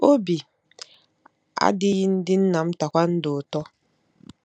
Obi adịghị ndị nna m tae kwondo ụtọ.